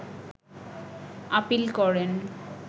appeal করেন